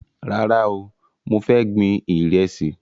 Rárá o, mo fẹ́ gbin Ìrẹ́sì